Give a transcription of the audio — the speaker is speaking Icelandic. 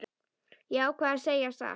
Ég ákvað að segja satt.